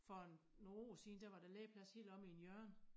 For en nogen år sidend er var der legeplads helt omme i en hjørne